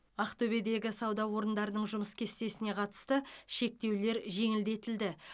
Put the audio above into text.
ақтөбедегі сауда орындарының жұмыс кестесіне қатысты шектеулер жеңілдетілді